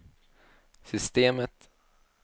systemet